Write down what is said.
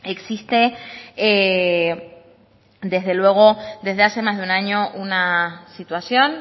existe desde luego desde hace más de un año una situación